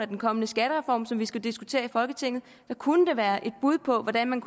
den kommende skattereform som vi skal diskutere i folketinget det kunne være et bud på hvordan man